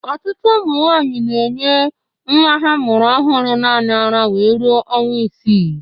Ọtụtụ ụmụ nwaanyi na-enye ha mụrụ ọhụrụ naanị ara wee ruo ọnwa isii.